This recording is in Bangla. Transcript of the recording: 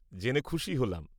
জেনে খুশি হলাম।